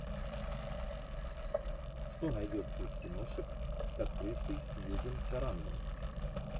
что найдется из киношек с актрисой сьюзен сарандон